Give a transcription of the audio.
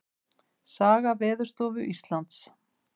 Saga Veðurstofu Íslands.